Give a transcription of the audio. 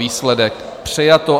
Výsledek: přijato.